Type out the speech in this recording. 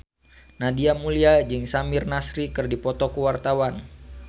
Nadia Mulya jeung Samir Nasri keur dipoto ku wartawan